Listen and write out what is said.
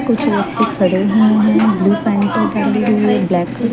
कुछ व्यक्ति खड़े हुए हैं ब्लू पेंट को पहने हुए ब्लैक --